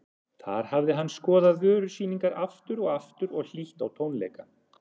Þar hafði hann skoðað vörusýningar aftur og aftur og hlýtt á tónleika.